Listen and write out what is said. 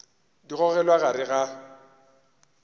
di gogelwa ka gare ga